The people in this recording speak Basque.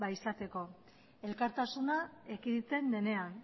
izateko elkartasuna ekiditen denean